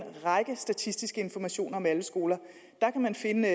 række statistiske informationer om alle skoler der kan man finde